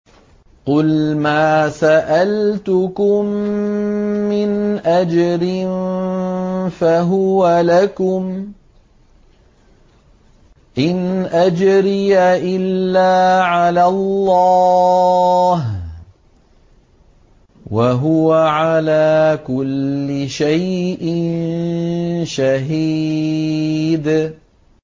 قُلْ مَا سَأَلْتُكُم مِّنْ أَجْرٍ فَهُوَ لَكُمْ ۖ إِنْ أَجْرِيَ إِلَّا عَلَى اللَّهِ ۖ وَهُوَ عَلَىٰ كُلِّ شَيْءٍ شَهِيدٌ